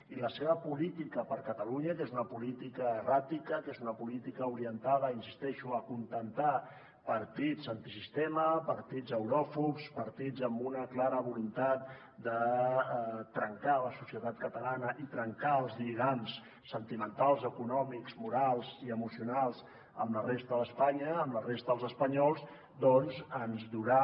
i la seva política per a catalunya que és una política erràtica que és una política orientada hi insisteixo a acontentar partits antisistema partits euròfobs partits amb una clara voluntat de trencar la societat catalana i trencar els lligams sentimentals econòmics morals i emocionals amb la resta d’espanya amb la resta dels espanyols doncs ens durà